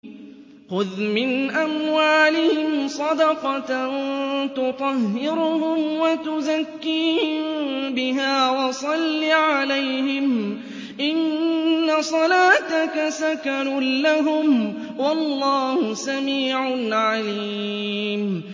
خُذْ مِنْ أَمْوَالِهِمْ صَدَقَةً تُطَهِّرُهُمْ وَتُزَكِّيهِم بِهَا وَصَلِّ عَلَيْهِمْ ۖ إِنَّ صَلَاتَكَ سَكَنٌ لَّهُمْ ۗ وَاللَّهُ سَمِيعٌ عَلِيمٌ